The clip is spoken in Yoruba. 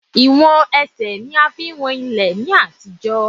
Ìwọ̀n Ẹsẹ̀ ní a fi ń wọn ilẹ̀ ní àtijọ́.